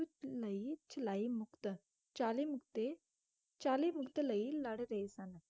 ਲਈ ਚਲਾਈ ਮੁਕਤ ਚਾਲੀ ਮੁਕਤੇ ਚਾਲੀ ਮੁਕਤ ਲਈ ਲੜ ਰਹੇ ਸਨ।